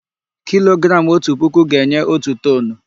Kilogramụ otu puku ga-enye otu toonu.